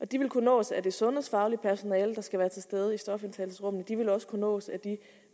de vil kunne nås af det sundhedsfaglige personale der skal være til stede i stofindtagelsesrummet de vil også kunne nås af det